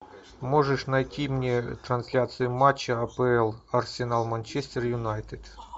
можешь найти мне трансляцию матча апл арсенал манчестер юнайтед